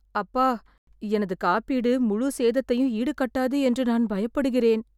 அப்பா , எனது காப்பீடு முழுச் சேதத்தையும் ஈடுகட்டாது என்று நான் பயப்படுகிறேன்.